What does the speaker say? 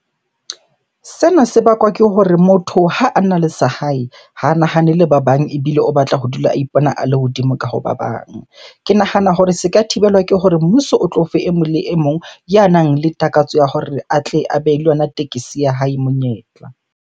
Sena se bakwa ke hore motho ha ana le sa hae, ha a nahanele ba bang ebile o batla ho dula a ipona a le hodimo ka hoba bang. Ke nahana hore se ka thibelwa ke hore mmuso o tlo fe e mong le e mong ya nang le takatso ya hore a tle a be le yona tekesi ya hae monyetla.